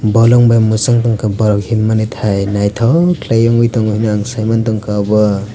bolong bai mwchangtong kha borok himmani thai naithok khlai ungui tongo ang saimantongkha obo.